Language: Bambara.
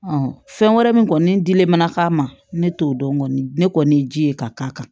fɛn wɛrɛ min kɔni dilen mana k'a ma ne t'o dɔn kɔni ne kɔni ye ji ye ka k'a kan